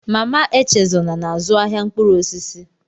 Mama Echezona na-azụ ahịa mkpụrụ osisi